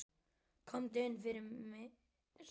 Komdu inn fyrir, sagði hann.